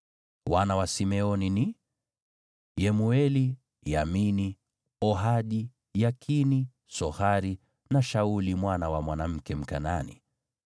Wana wa Simeoni ni: Yemueli, Yamini, Ohadi, Yakini, Sohari na Shauli mwana wa mwanamke Mkanaani.